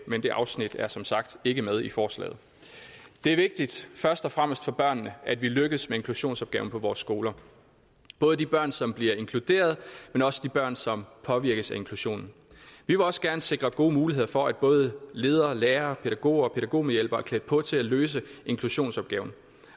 men det afsnit er som sagt ikke med i forslaget det er vigtigt først og fremmest for børnene at vi lykkes med inklusionsopgaven på vores skoler både de børn som bliver inkluderet men også de børn som påvirkes af inklusionen vi vil også gerne sikre gode muligheder for at både ledere lærere pædagoger og pædagogmedhjælpere er klædt på til at løse inklusionsopgaven